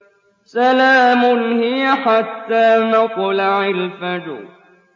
سَلَامٌ هِيَ حَتَّىٰ مَطْلَعِ الْفَجْرِ